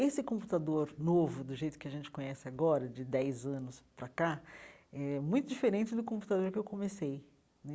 Esse computador novo, do jeito que a gente conhece agora, de dez anos para cá, é muito diferente do computador que eu comecei né.